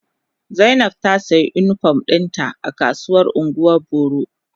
Zainab ta siya unipom dinta a kasuwar ungwan boro.